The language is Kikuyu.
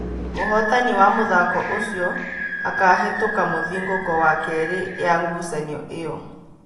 Mũhotani wa mũthako ũcio akahetũka mũthingũko wa kerĩ ya ngucanio ĩyo.